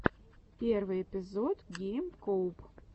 первый эпизод гейм коуб